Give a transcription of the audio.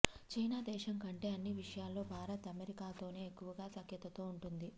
China దేశం కంటే అన్ని విషయాల్లో భారత్ అమెరికాతోనే ఎక్కువగా సఖ్యతతో ఉంటుంది